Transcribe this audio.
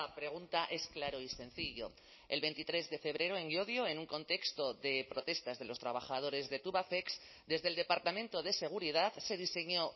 pregunta es claro y sencillo el veintitrés de febrero en llodio en un contexto de protestas de los trabajadores de tubacex desde el departamento de seguridad se diseñó